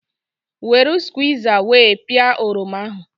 Weru squiza wee pịa oroma ahụ